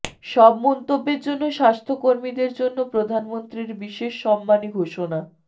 সব মন্তব্যের জন্য স্বাস্থ্যকর্মীদের জন্য প্রধানমন্ত্রীর বিশেষ সম্মানী ঘোষণা